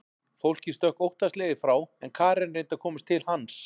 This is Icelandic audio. Fólkið stökk óttaslegið frá en Karen reyndi að komast til hans.